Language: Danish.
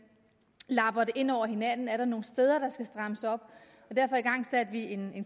lapper de ind over hinanden er der nogle steder der skal strammes op og derfor igangsatte vi en